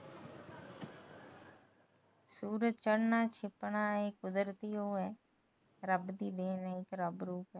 ਸੁਰਜ ਚੜਨਾ ਛਿਪਨਾ ਇਹ ਕੁਦਰਤੀ ਉਹ ਏ ਰੱਬ ਦੀ ਉਹ ਏ ਦੇਣ ਏ ਰੱਬ ਦੀ